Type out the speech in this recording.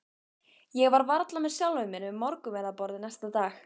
Ég var varla með sjálfri mér við morgunverðarborðið næsta dag.